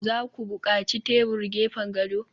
za ku buƙaci tebur gefen gado?